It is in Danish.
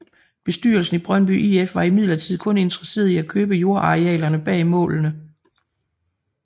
Bestyrelsen i Brøndby IF var imidlertid kun interesseret i at købe jordarealerne bag målene